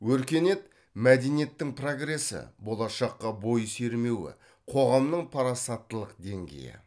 өркениет мәдениеттің прогресі болашаққа бой сермеуі қоғамның парасаттылық деңгейі